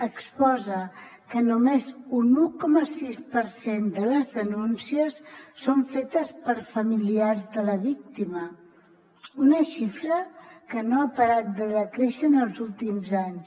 exposa que només un un coma sis per cent de les denúncies són fetes per familiars de la víctima una xifra que no ha parat de decréixer en els últims anys